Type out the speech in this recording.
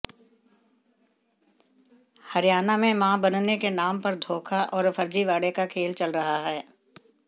हरियाणा में मां बनने के नाम पर धोखा और फर्जीवाड़े का खेल चल रहा है